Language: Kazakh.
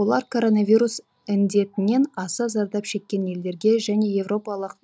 олар коронавирус індетінен аса зардап шеккен елдерге және еуропалық